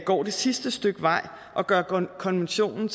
går det sidste stykke vej og gør konventionen